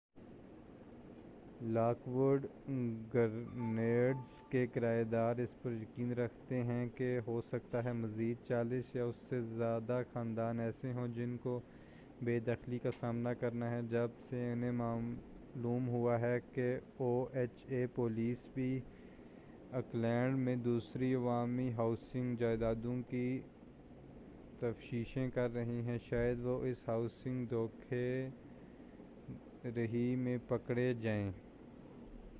lock would Gardens کے کرایہ دار اس پر یقین رکھتے ہیں کہ ہو سکتا ہے مزید 40 یا اس سے زیادہ خاندان ایسے ہوں جن کو بے دخلی کا سامنا کرنا ہے جب سے انھیں معلوم ہو ہے کہ او ایچ اے پولیس بھی آکلینڈ میں دوسری عوامی ہاؤسنگ جائدادوں کی تفشیش کر رہی ہے شاید وہ اس ہاؤسنگ دھوکہ دہی میں پکڑے جائیں